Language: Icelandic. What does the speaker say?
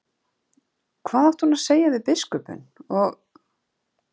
Hvað átti hún að segja við biskupinn og